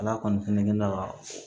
Ala kɔni fɛnɛ ka